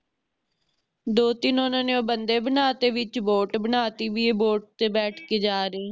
ਦੋ ਤਿੰਨ ਓਹਨਾ ਨੇ ਉਹ ਬੰਦੇ ਬਣਾ ਤੇ ਵਿਚ Boat ਬਣਾਤੀ ਵੀ ਏ Boat ਤੇ ਬੈਠ ਕੇ ਜਾ ਰਹੀ ਹੈ